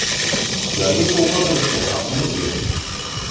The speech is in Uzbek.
Ularga sovg‘a qilishga haqimiz yo‘q.